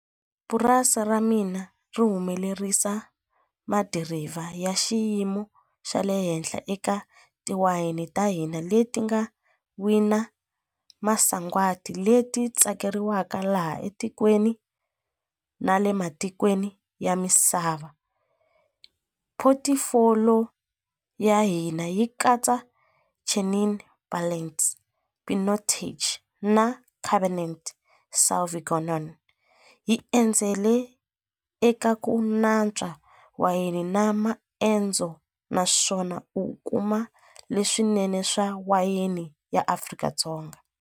Purasi ra mina ri humelerisa madirivha ya xiyimo xa le henhla eka tiwayini ta hina leti nga wina masagwadi leti tsakeriwaka laha etikweni na le matikweni ya misava ya hina yi katsa Chenin Blanc Pinotage na Cabernet Sauvignon yi endzele eka ku natswa wayeni na maendzo naswona u kuma leswinene swa wayeni ya Afrika-Dzonga.